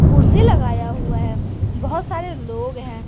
कुर्सी लगाया हुआ है बहुत सारे लोग है।